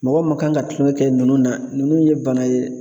Mɔgɔ ma kan ka tulɔnkɛ kɛ nunnu na, nunnu ye bana ye